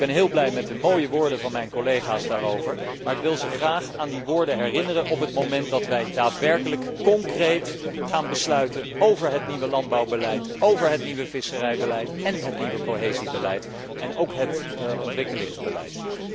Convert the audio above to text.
Ik ben heel blij met de mooie woorden van mijn collega's daarover, maar ik wil hen graag aan die woorden herinneren op het moment dat wij daadwerkelijk concreet gaan besluiten over het nieuwe landbouwbeleid, het nieuwe visserijbeleid, het nieuwe cohesiebeleid en niet te vergeten het ontwikkelingsbeleid.